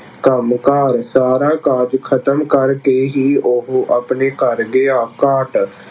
ਕੰਮਕਾਰ ਸਾਰਾ ਕਾਜ ਖਤਮ ਕਰਕੇ ਹੀ ਉਹ ਆਪਣੇ ਘਰ ਗਿਆ। ਕਾਟ